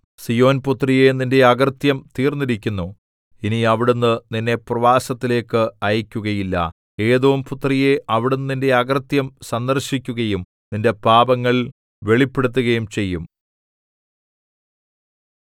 സീയോൻപുത്രിയേ നിന്റെ അകൃത്യം തീർന്നിരിക്കുന്നു ഇനി അവിടുന്ന് നിന്നെ പ്രവാസത്തിലേയ്ക്ക് അയയ്ക്കുകയില്ല ഏദോംപുത്രിയേ അവിടുന്ന് നിന്റെ അകൃത്യം സന്ദർശിക്കുകയും നിന്റെ പാപങ്ങൾ വെളിപ്പെടുത്തുകയും ചെയ്യും